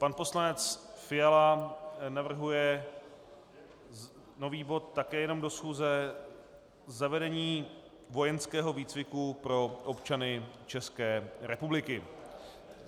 Pan poslanec Fiala navrhuje nový bod, také jenom do schůze, Zavedení vojenského výcviku pro občany České republiky.